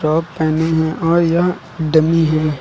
पहेने है और यह डमी है।